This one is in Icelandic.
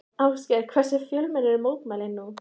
Ásgeir, hversu fjölmenn eru mótmælin nú?